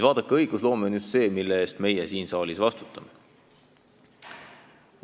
Vaadake, õigusloome on just see, mille eest meie siin saalis vastutame.